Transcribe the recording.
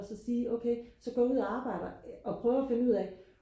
og så sige okay så går jeg ud og arbjeder og prøver at finde ud af